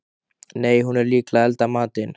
Nei, hún er líklega að elda matinn.